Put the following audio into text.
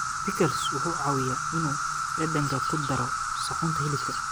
Pickles wuxuu caawiyaa inuu dhadhanka ku daro suxuunta hilibka.